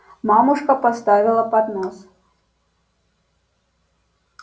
мамушка поставила поднос